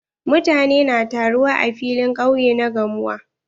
Mutane na taruwa a filin ƙauye na gamuwa.